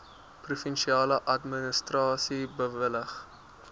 provinsiale administrasie bewillig